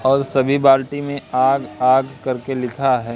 और सभी बाल्टी में आग-आग करके लिखा है।